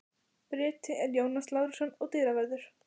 Bryti er Jónas Lárusson og dyravörður